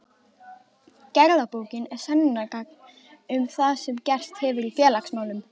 Gerðabókin er sönnunargagn um það sem gerst hefur í félagsmálum.